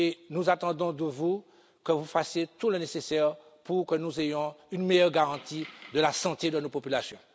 Nous attendons de vous que vous fassiez tout le nécessaire pour que nous ayons une meilleure garantie de la santé de nos populations.